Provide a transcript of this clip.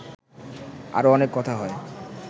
আরও অনেক কথা হয়